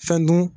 Fɛn dun